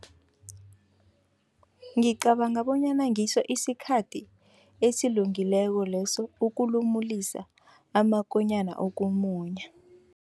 Ngicabanga bonyana ngiso isikhathi esilungileko leso, ukulumulisa amakonyana ukumunya.